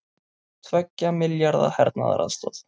Tveggja milljarða hernaðaraðstoð